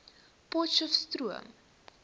potcheftsroom